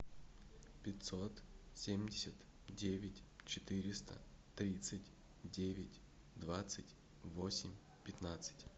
пятьсот семьдесят девять четыреста тридцать девять двадцать восемь пятнадцать